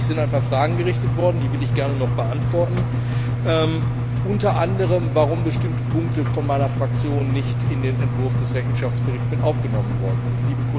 An mich sind ein paar Fragen gerichtet worden, die ich gerne noch beantworten will, unter anderem, warum bestimmte Punkte von meiner Fraktion nicht in den Entwurf des Rechenschaftsberichts aufgenommen worden sind.